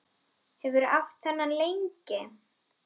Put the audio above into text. Hefurðu átt þennan lengi?